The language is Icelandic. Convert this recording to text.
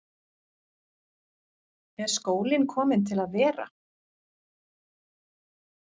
Er skólinn kominn til að vera?